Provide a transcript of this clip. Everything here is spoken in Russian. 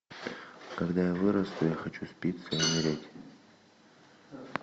когда я вырасту я хочу спиться и умереть